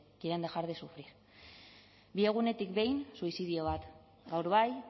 quieren dejar de sufrir bi egunetik behin suizidio bat gaur bai